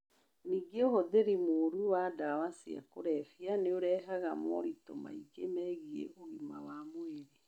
Ningĩ ũhũthĩri mũũru wa ndawa cia kũrebia nĩ ũrehaga moritũ mangĩ megiĩ ũgima wa mwĩrĩ.